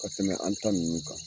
Ka tɛmɛ an ta nunnu kan.